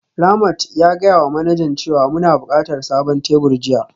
Ramat ya gaya wa manajan cewa muna buƙatar sabon tebur jiya